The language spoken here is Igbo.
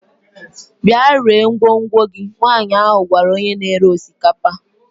Bịa ree ngwongwo gị! Nwanyị ahụ gwara onye na-ere osikapa